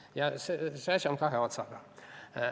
Ja see on kahe otsaga asi.